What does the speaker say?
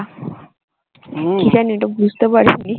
ওটা বুঝতে পারিনি।